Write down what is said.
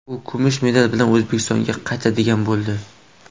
U kumush medal bilan O‘zbekistonga qaytadigan bo‘ldi.